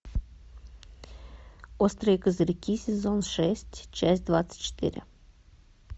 острые козырьки сезон шесть часть двадцать четыре